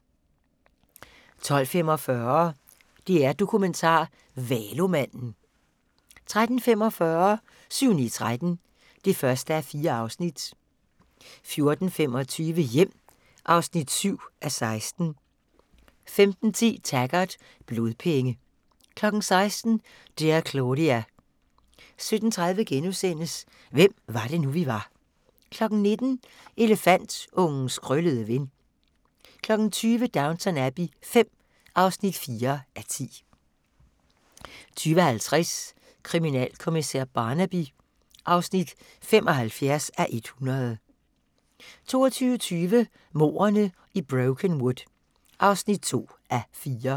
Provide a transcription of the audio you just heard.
12:45: DR-Dokumentar: Valomanden 13:45: 7-9-13 (1:4) 14:25: Hjem (7:16) 15:10: Taggart: Blodpenge 16:00: Dear Claudia 17:30: Hvem var det nu, vi var * 19:00: Elefantungens krøllede ven 20:00: Downton Abbey V (4:10) 20:50: Kriminalkommissær Barnaby (75:100) 22:20: Mordene i Brokenwood (2:4)